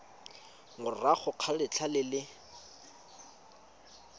morago ga letlha le le